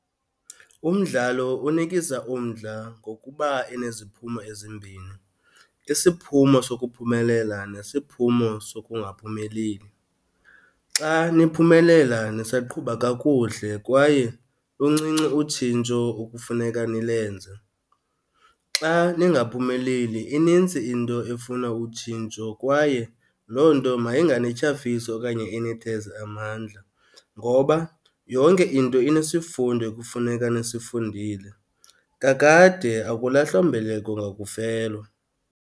Umdlalo unikisa umdla ngokuba eneziphumo ezimbini, isiphumo sokuphumelela nesiphumo sokungaphumeleli. Xa niphumelela, nisaqhuba kakuhle kwaye luncinci utshintsho okufuneka nilenze. Xa ningaphumeleli, inintsi into efuna utshintsho kwaye loo nto mayinganityhafisi okanye initheze amandla, ngoba yonke into inesifundo ekufuneka nisifundile. Kakade akulahlwa mbeleko ngakufelwa.